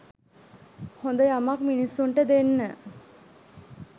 හොඳ යමක් මිනිස්සුන්ට දෙන්න